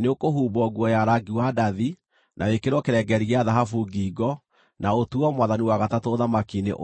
nĩũkũhumbwo nguo ya rangi wa ndathi, na wĩkĩrwo kĩrengeeri gĩa thahabu ngingo, na ũtuuo mwathani wa gatatũ ũthamaki-inĩ ũyũ.”